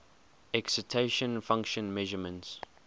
excitation function measurements